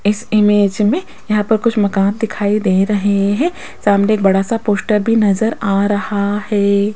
इस इमेज में यहां पर कुछ मकान दिखाई दे रहे हैं सामने बड़ा सा पोस्टर भी नजर आ रहा है।